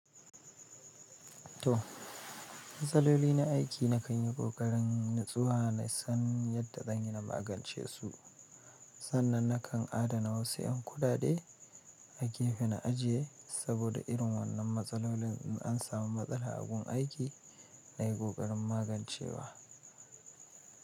To, matsaloli na aiki nakanyi ƙoƙarin natsuwa nasan yadda zanyi na magance su sannan na kan adana wasu 'yan kuɗaɗe a gefe na ajiye, saboda irin waɗannan matsalolin.